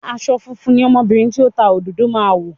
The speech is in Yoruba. Aṣọ funfun ni ọmọbìnrin tó ń ta òdòdó máa wọ̀